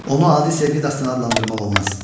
Onu adi sevgi dastanı adlandırmaq olmaz.